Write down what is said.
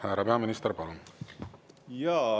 Härra peaminister, palun!